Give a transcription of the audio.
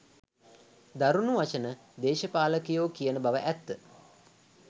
දරුණු වචන දේශපාලකයෝ කියන බව ඇත්ත.